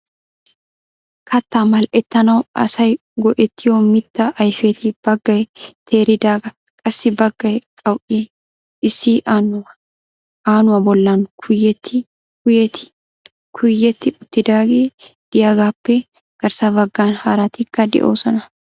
Kattaa mal"ettanaw asay go"ettiyo mitta ayfeti baggay teeridaaga qassi baggay qawu"e issi anuwaa bollan kuuyyeti uttidaagee de'iyaagappe garssa baggan haratikka de'oosona.